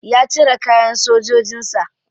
Ya cire kayan sojojin sa.